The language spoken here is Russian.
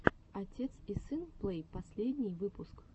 отец и сын плэй последний выпуск